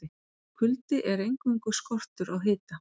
Kuldi er eingöngu skortur á hita.